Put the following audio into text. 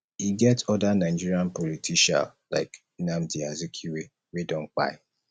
e get oda nigerian politicial like nnamdi azikiwe wey don kpai